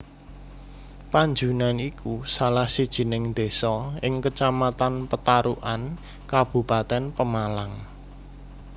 Panjunan iku salah sijining desa ing Kecamatan Petarukan Kabupatèn Pemalang